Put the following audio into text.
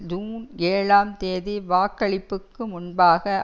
June ஏழாம் தேதி வாக்களிப்புக்கு முன்பாக